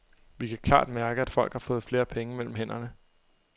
Vi kan klart mærke, at folk har fået flere penge mellem hænderne.